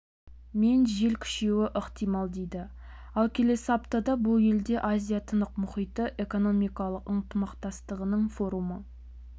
мен жел күшеюі ықтимал дейді ал келесі аптада бұл елде азия-тынық мұхиты экономикалық ынтымақтастығының форумы